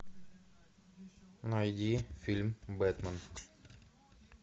найди фильм бэтмен